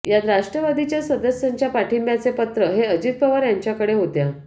यात राष्ट्रवादीच्या सदस्यांच्या पाठींब्याचे पत्र हे अजित पवार यांच्याकडे होत्या